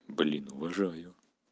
блин уважаю